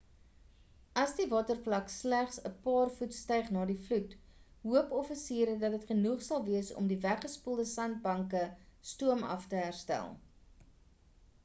al sal die watervlak slegs 'n paar voet styg na die vloed hoop offisiere dat dit genoeg sal wees om die weggespoelde sandbanke stoomaf te herstel